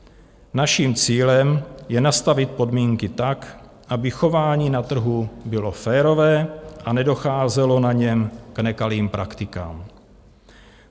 Naším cílem je nastavit podmínky tak, aby chování na trhu bylo férové a nedocházelo na něm k nekalým praktikám.